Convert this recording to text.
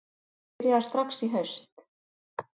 Það byrjaði strax í haust